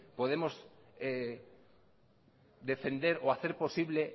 podemos defender o hacer posible